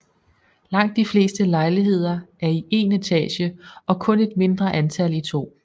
Langt de fleste lejligheder er i én etage og kun et mindre antal i to